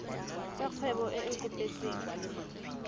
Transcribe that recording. tsa kgwebo e e kopetsweng